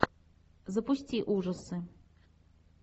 запусти ужасы